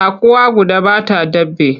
Tsakuwa guda ba ta daɓe.